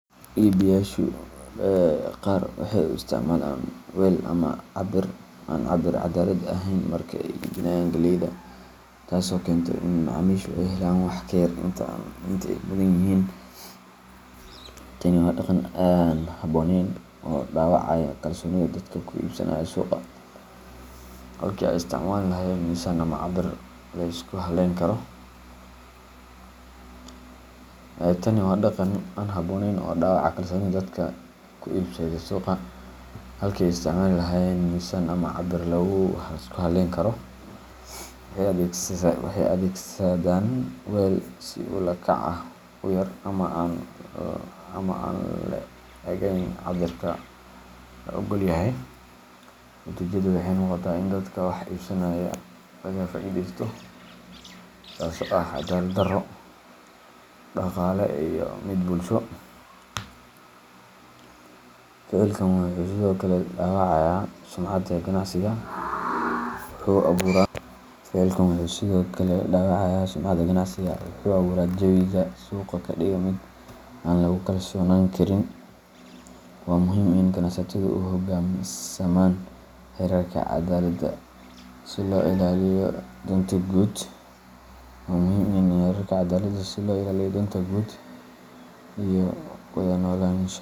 Iibiyeyaasha qaar waxay u isticmaalaan weel aan cabir caddaalad ahayn marka ay iibinayaan galleyda, taasoo keenta in macaamiishu ay helaan wax ka yar inta ay mudan yihiin. Tani waa dhaqan aan habboonayn oo dhaawacaya kalsoonida dadka ku iibsada suuqa. Halkii ay isticmaali lahaayeen miisaan ama cabir la isku halleyn karo, waxay adeegsadaan weel si ula kac ah u yar ama aan le'egayn cabirka la oggol yahay. Natiijadu waxay noqotaa in dadka wax iibsanaya laga faa’iidaysto, taasoo ah caddaalad-darro dhaqaale iyo mid bulsho. Ficilkan wuxuu sidoo kale dhaawacayaa sumcadda ganacsiga, wuxuuna abuuraa jawi suuqa ka dhiga mid aan lagu kalsoonaan karin. Waa muhiim in ganacsatadu u hoggaansamaan xeerarka caddaaladda si loo ilaaliyo danta guud iyo wada noolaanshaha.